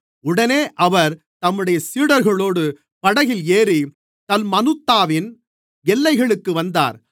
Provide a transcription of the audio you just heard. உடனே அவர் தம்முடைய சீடர்களோடு படகில் ஏறி தல்மனூத்தாவின் எல்லைகளுக்கு வந்தார்